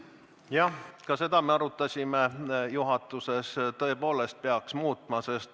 Seda me arutasime juhatuses, et tõepoolest peaks muutma.